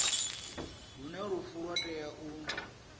hune lufu lwa tea u